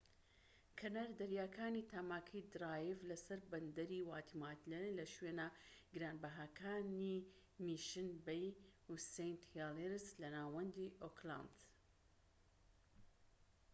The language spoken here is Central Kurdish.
کەنار دەریاکانی تاماکی درایڤ لە سەر بەندەری واتیماتایە لە شوێنە گرانبەهاکانی میشن بەی و سەینت هێلیریس لە ناوەندی ئۆکلاند